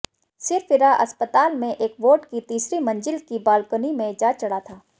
सिरफिरा अस्पताल में एक वार्ड की तीसरी मंजिल की बालकनी में जा चढ़ा था